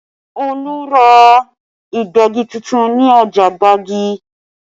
Olu ra Ìgbẹ́gi tuntun ní ọjà Gbagi